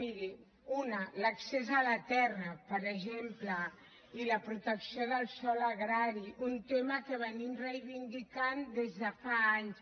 miri una l’accés a la terra per exemple i la protecció del sòl agrari un tema que reivindiquem des de fa anys